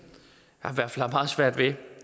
har meget svært ved